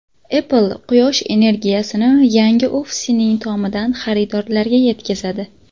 Apple Quyosh energiyasini yangi ofisining tomidan xaridorlarga yetkazadi.